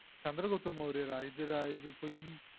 சந்திரகுப்தமௌரியரா இதுதா இது பொய்யி